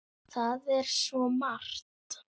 Það er svo margt!